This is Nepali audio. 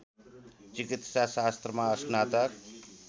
चिकित्सा शास्त्रमा स्नातक